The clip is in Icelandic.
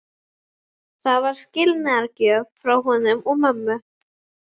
Það var skilnaðargjöf frá honum og mömmu.